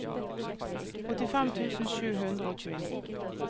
åttifem tusen sju hundre og tjueni